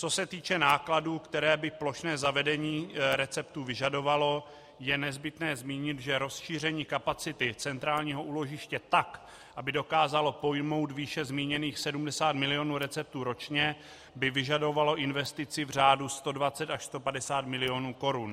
Co se týče nákladů, které by plošné zavedení receptů vyžadovalo, je nezbytné zmínit, že rozšíření kapacity centrálního úložiště tak, aby dokázalo pojmout výše zmíněných 70 milionů receptů ročně, by vyžadovalo investici v řádu 120 až 150 milionů korun.